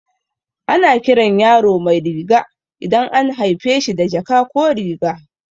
Ana kiran yaro Mairiga idan an haife shi da jaka ko riga